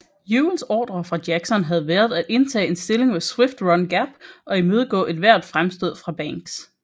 Ewells ordrer fra Jackson havde været at indtage en stilling ved Swift Run Gap og imødegå ethvert fremstød fra Banks